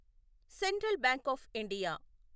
central bank of India